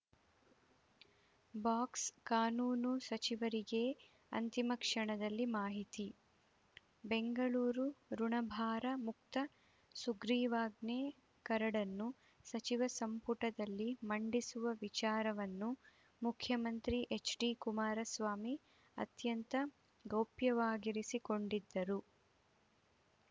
box ಕಾನೂನು ಸಚಿವರಿಗೇ ಅಂತಿಮ ಕ್ಷಣದಲ್ಲಿ ಮಾಹಿತಿ ಬೆಂಗಳೂರು ಋುಣಭಾರ ಮುಕ್ತ ಸುಗ್ರೀವಾಜ್ಞೆ ಕರಡನ್ನು ಸಚಿವ ಸಂಪುಟದಲ್ಲಿ ಮಂಡಿಸುವ ವಿಚಾರವನ್ನು ಮುಖ್ಯಮಂತ್ರಿ ಎಚ್‌ಡಿ ಕುಮಾರಸ್ವಾಮಿ ಅತ್ಯಂತ ಗೌಪ್ಯವಾಗಿರಿಸಿಕೊಂಡಿದ್ದರು